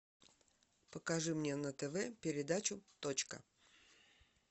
покажи мне на тв передачу точка